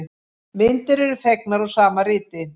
Myndir eru fengnar úr sama riti.